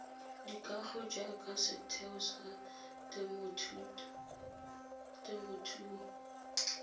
dikago jaaka setheo sa temothuo